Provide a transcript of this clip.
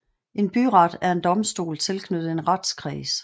En byret er en domstol tilknyttet en retskreds